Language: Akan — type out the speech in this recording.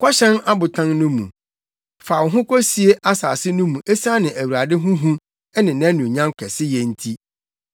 Kɔhyɛn abotan no mu, fa wo ho kosie asase no mu esiane Awurade ho hu ne nʼanuonyam kɛseyɛ nti!